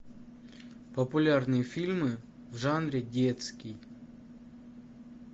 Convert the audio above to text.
популярные фильмы в жанре детский